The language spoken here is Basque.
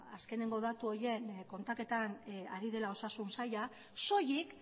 ba azkenengo datu horiek kontaketan ari dela osasun saila soilik